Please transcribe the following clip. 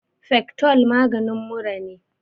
fectol maganin mura ne